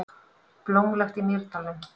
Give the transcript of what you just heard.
Blómlegt í Mýrdalnum